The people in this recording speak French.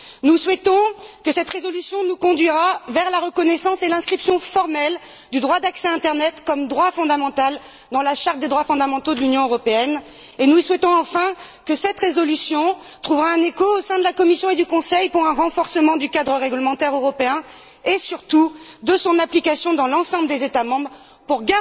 Nous souhaitons que cette résolution nous conduira vers la reconnaissance et l'inscription formelle du droit d'accès à internet comme droit fondamental dans la Charte des droits fondamentaux de l'Union européenne et nous espérons, enfin, que cette résolution trouvera un écho au sein de la Commission et du Conseil pour un renforcement du cadre réglementaire européen et surtout de son application dans l'ensemble des États membres pour